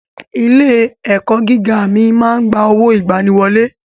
Ilé ẹ̀kọ́ gíga mi máa ń gba owó ìgbaniwọlé.